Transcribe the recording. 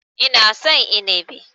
Ina son Inibi.